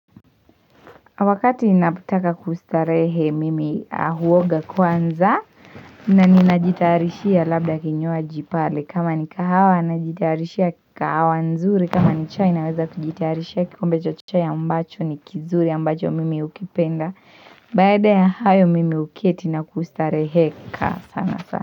Wakati ninapotaka kustarehe mimi huoga kwanza na ninajitarishia labda kinywaji pale kama ni kahawa najitarishia kahawa nzuri kama ni chai naweza kujitarishia kikombe cha chai ambacho ni kizuri ambacho mimi hukipenda baada ya hayo mimi huketi na kustareheka sana sana.